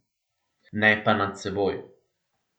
Ne pa nad seboj.